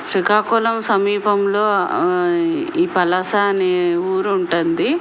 శ్రీకాకుళం సమీపంలో ఈ పలాస అనే ఊరు ఉంటుంది.